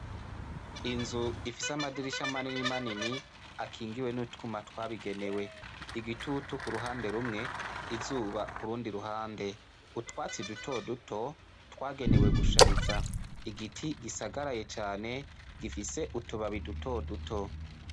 Inzu ifise amadirisha manini manini, akingiwe n'utwuma twabigenewe. Igitutu ku ruhande rumwe, izuba ku rundi ruhande. Utwatsi dutoduto twagenewe gushariza. Igiti gisagaraye cane gifise utubabi dutoduto.